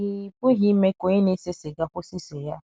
Ị, Ịpụghị ime ka onye na - ese siga kwụsị ise ya.